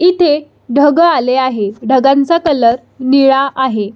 इथे ढग आले आहे ढगांचा कलर निळा आहे.